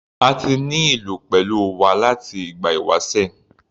A ti ní ìlú pẹ̀lú wa láti ìgbà ìwásẹ̀.